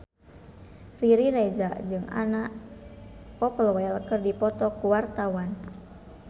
Riri Reza jeung Anna Popplewell keur dipoto ku wartawan